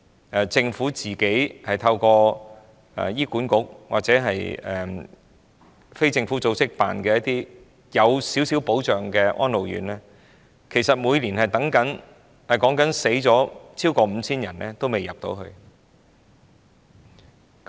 在輪候入住政府透過醫院管理局或非政府組織營辦，較有保障的安老院的人士當中，每年均有逾 5,000 人中途逝世，至死仍未能入住院舍。